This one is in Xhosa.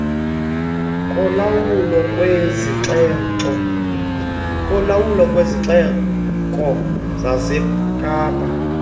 kolawulo lwesixeko sasekapa